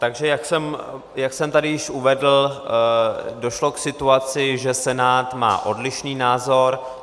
Takže jak jsem tady již uvedl, došlo k situaci, že Senát má odlišný názor.